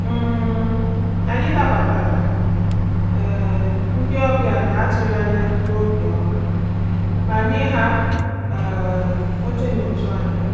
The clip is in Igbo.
um Anyị nabatara um ndị ọbịa na-atụghị anya n’obiọma ma nye ha um oche n’otu anyị.